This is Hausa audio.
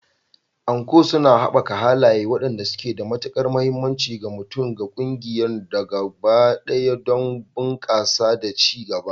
Anko suna haɓaka halaye waɗanda suke da matukar mahimmanci ga mutum da ƙungiya gaba ɗaya don bunƙasa da ci gaba.